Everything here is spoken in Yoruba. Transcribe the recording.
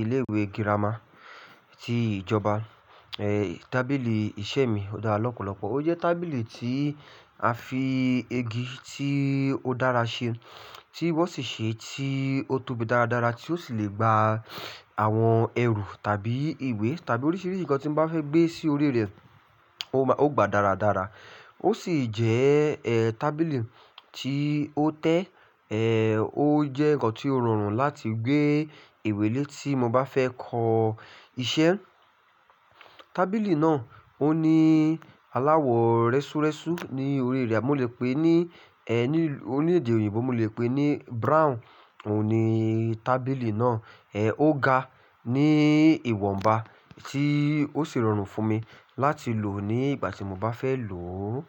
ilé ìwé gírámà ti ìjọba. Ẹ̀ tábìlì iṣẹ́ mi ó dára lọ́pọ̀lọpọ̀. Ó jẹ́ tábìlì tí a fi igi tí ó dára ṣe tí wọ́n sì ṣe tí ó tóbi dáradára tí ó sì le gba àwọn ẹrù tàbí ìwé tàbí oríṣiríṣi nǹkan tí n bá fẹ́ gbé sí orí rẹ̀, ó gba dáradára. Ó sì jẹ́ ẹ́ tábìlì tí ó tẹ́ ẹ́, ó jẹ́ nǹkan tí ó rọrùn láti gbé ìwé lé tí mo bá fẹ́ kọ iṣẹ́. Tábìlì náà ó ní aláwọ̀ rẹ́súrẹ́sú ní orí rẹ̀, mo lè pè é ní ẹ́ ní ònièdè òyìnbó mo lè pè é ní brown òhun ní tábìlì náà. Ẹ̀ ó ga ní ìwọ̀nba tí ó sì rọrùn fún mi láti lò ó ní ìgbà tí mo bá fẹ́ lò ó.